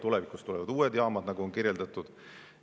Tulevikus tulevad uued jaamad, nagu on kirjeldatud.